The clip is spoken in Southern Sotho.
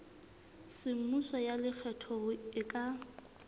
semmuso ya lekgetho e ka